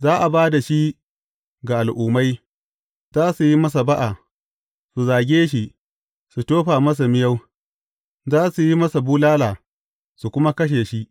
Za a ba da shi ga Al’ummai, za su yi masa ba’a, su zage shi, su tofa masa miyau, za su yi masa bulala, su kuma kashe shi.